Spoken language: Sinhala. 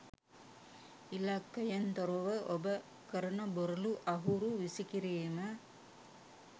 ඉලක්කයෙන් තොරව ඔබ කරන බොරලු අහුරු විසිකිරීම